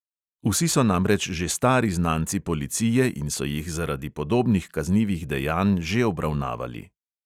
Vsi so namreč že stari znanci policije in so jih zaradi podobnih kaznivih dejanj že obravnavali.